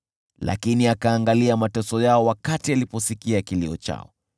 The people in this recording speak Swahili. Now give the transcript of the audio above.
Lakini akaangalia mateso yao wakati aliposikia kilio chao;